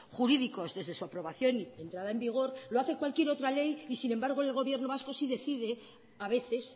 jurídicos desde su aprobación y entrada en vigor lo hace cualquier otra ley y sin embargo en el gobierno vasco sí decide a veces